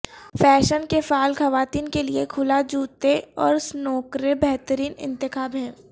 fashion کے فعال خواتین کے لئے کھلا جوتے اور سنوکریں بہترین انتخاب ہیں